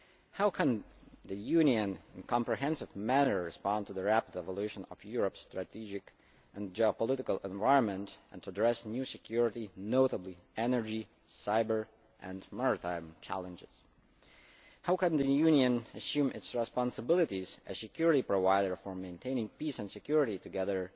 How can the Union respond in a comprehensive manner to the rapid evolution of Europe's strategic and geopolitical environment and address new security notably energy, cyber and maritime challenges? How can the Union assume its responsibilities as security provider for maintaining peace and security together